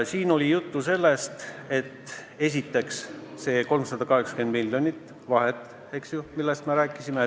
Siin oli juttu esiteks sellest 380-miljonilisest vahest, millest me rääkisime.